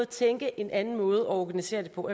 tænke en anden måde at organisere det på